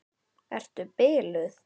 Ertu biluð!